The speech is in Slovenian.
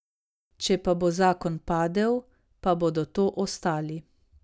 Če pa bo zakon padel, pa bodo to ostali.